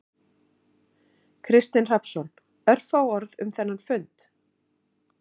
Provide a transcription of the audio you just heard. Kristinn Hrafnsson: Örfá orð um þennan fund?